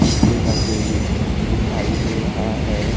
शीशे का केबिन दिखाई दे रहा है।